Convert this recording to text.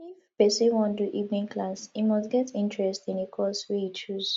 if persin wan do evening class e must get interest in the course wey e choose